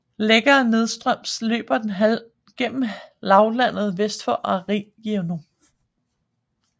Længere nedstrøms løber den gennem lavlandet vest for Agrinio